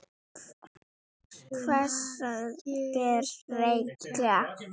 Hversu margir reykja?